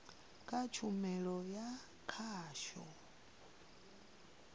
na kha tshumelo ya khasho